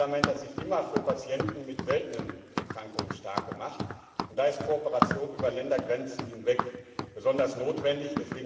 Dieses Parlament hat sich immer für Patienten mit seltenen Erkrankungen stark gemacht, und da ist Kooperation über Ländergrenzen hinweg besonders notwendig.